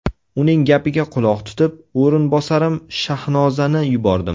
Uning gapiga quloq tutib, o‘rinbosarim Shahnozani yubordim.